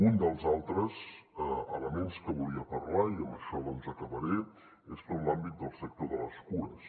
un dels altres elements que volia parlar i amb això doncs acabaré és tot l’àmbit del sector de les cures